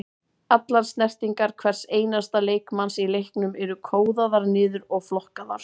Allar snertingar hvers einasta leikmanns í leiknum eru kóðaðar niður og flokkaðar.